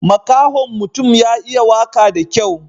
Makahon mutun ya iya waka da kyau.